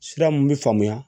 Sira mun bi faamuya